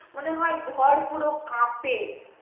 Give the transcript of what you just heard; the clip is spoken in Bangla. মনে হয় ঘর পুরো কাপে